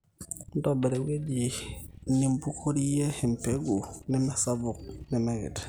ntobirra ewueji nimbukorrie empegu nemesapuk nemekiti